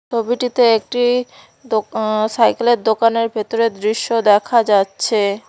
ছবিটিতে একটি দোকা আঃ সাইকেলের দোকানের ভেতরের দৃশ্য দেখা যাচ্ছে।